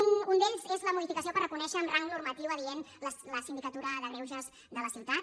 un és la modificació per reconèixer amb rang normatiu adient la sindicatura de greuges de la ciutat